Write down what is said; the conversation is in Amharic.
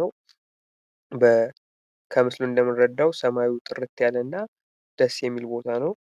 ነው። ሰማዩ ጥርት ያለ እና ደስ የሚል ቦታ ነው።